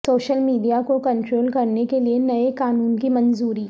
social media کو control کرنے کے لیے نئے قانون کی منظوری